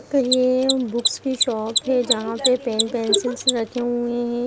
तो ये बुकस की शॉप है जहाँ पे पेन पेन्सिल्स रखे हुए हैं।